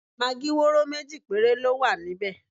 Magí wóró méjì péré ló wà níbẹ̀.